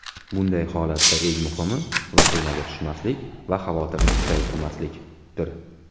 Bunday holatda eng muhimi vahimaga tushmaslik va xavotirni kuchaytirmaslikdir.